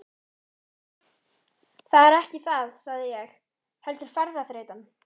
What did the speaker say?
Það er ekki það sagði ég, heldur ferðaþreytan.